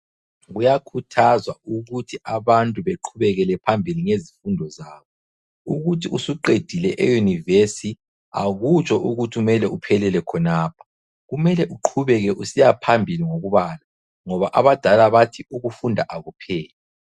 Kuyakhuthazwa ukuthi abantu beqhubekele phambili ngezifundo zabo ukuthi usuqedile euniversi akutsho ukuthi uphelele khonapho kumele uqhubeke phambili ngokubala ngoba abadala bathi ukufunda akupheli.